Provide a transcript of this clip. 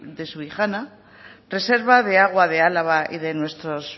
de subijana reserva de agua de álava y de nuestros